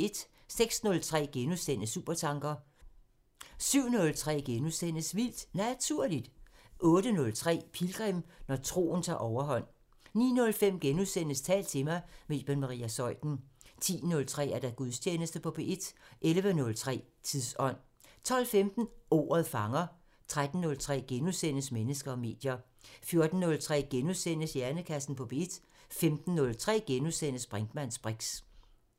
06:03: Supertanker * 07:03: Vildt Naturligt * 08:03: Pilgrim – Når troen tager overhånd 09:05: Tal til mig – med Iben Maria Zeuthen * 10:03: Gudstjeneste på P1 11:03: Tidsånd 12:15: Ordet fanger 13:03: Mennesker og medier * 14:03: Hjernekassen på P1 * 15:03: Brinkmanns briks *